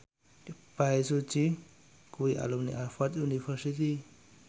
Bae Su Ji kuwi alumni Harvard university